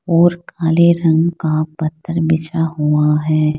और काले रंग का पत्थर बिछा हुआ है।